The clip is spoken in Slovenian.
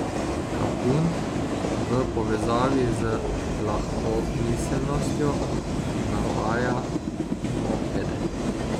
Kapun v povezavi z lahkomiselnostjo navaja mopede.